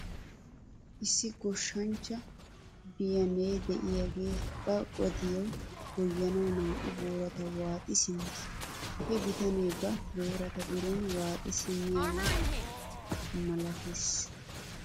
Issi goshshanchcha biyanee de'iyaagee ba gadiyaa goyyanaw naa'u boorata waaxi simmes. He bitanee ba boorata biroon waaxi simmiyaaba malates .